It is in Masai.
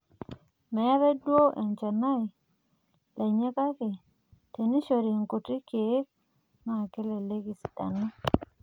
meeta duo olchanai lenye kake, tenishori irkuti keek naaa kelelek esidanu